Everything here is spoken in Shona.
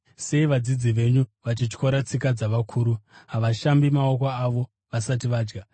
“Sei vadzidzi venyu vachityora tsika dzavakuru? Havashambi maoko avo vasati vadya!”